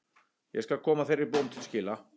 Ég skal koma þeirri bón til skila.